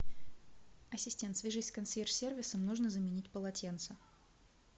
ассистент свяжись с консьерж сервисом нужно заменить полотенца